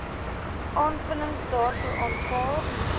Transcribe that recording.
aanvullings daartoe aanvaar